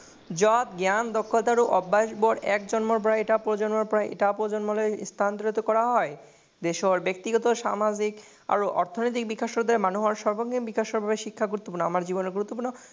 মত জ্ঞান দক্ষতা এটা প্ৰজন্মৰ পৰা এটা প্ৰজন্মলৈ স্থানান্তৰিত কৰা হয়। ব্যক্তিগত, সামাজিক আৰু অৰ্থনৈতিক বিকাশৰ দৰে মানুহৰ সাৰ্বজনীন বিকাশৰ বাবে শিক্ষা গুৰুত্বপূৰ্ণ।